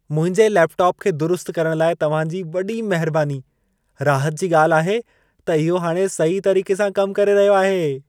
मुंहिंजे लेपटॉप खे दुरुस्त करण लाइ तव्हां जी वॾी महिरबानी। राहत जी ॻाल्हि आहे त इहो हाणे सही तरीक़े सां कमु करे रहियो आहे।